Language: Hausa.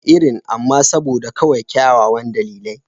Irin, amma kawai saboda kyawawan dalilai.